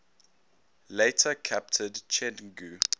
later captured chengdu